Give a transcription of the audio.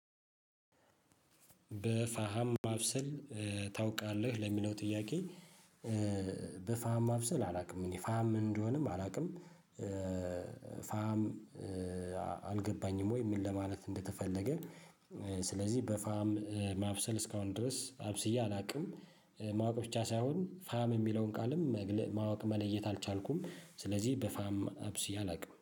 በፋሃም ማብሰል ታውቃለህ ለሚለው ጥያቄ? በፋሃም ማብሰል አላውቅም እኔ ፋም ምን እንደሆነም አላውቅም። ፋም አልገባኝም ወይ ምን ለማለት እንደተፈለገ። ስለዚህ በፋም ማብሰል እስካሁን ድረስ አብስዬ አላውቅም። ማወቅ ብቻ ሳይሆን ፋም የሚለውን ቃልም ማወቅ መለየት አልቻልኩም ስለዚህ በፋም አብስዬ አላውቅም